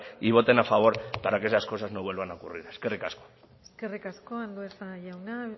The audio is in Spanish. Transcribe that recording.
y voten a favor para que esas cosas no vuelvan a ocurrir eskerrik asko eskerrik asko andueza jauna